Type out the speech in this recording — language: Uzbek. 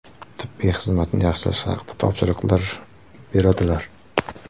Tibbiy xizmatni yaxshilash haqida topshiriqlar beradilar.